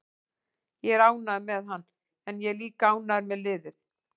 Ég er ánægður með hann en ég er líka ánægður með liðið.